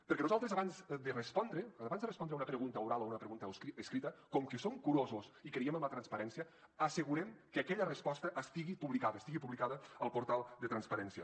perquè nosaltres abans de respondre abans de respondre a una pregunta oral o una pregunta escrita com que som curosos i creiem en la transparència assegurem que aquella resposta estigui publicada estigui publicada al portal de transparència